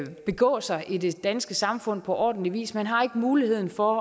begå sig i det danske samfund på ordentlig vis man har ikke muligheden for